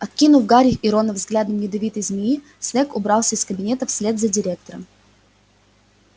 окинув гарри и рона взглядом ядовитой змеи снэгг убрался из кабинета вслед за директором